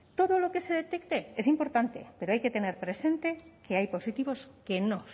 todo lo que se detecte es importante pero hay que tener presente que hay positivos que no